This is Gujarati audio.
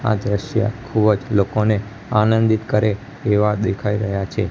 આ દ્રશ્ય ખુબજ લોકોને આનંદિત કરે એવા દેખાય રહ્યા છે.